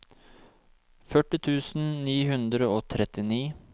førti tusen ni hundre og trettini